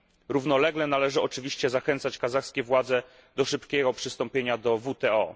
Równolegle należy oczywiście zachęcać kazachskie władze do szybkiego przystąpienia do WTO.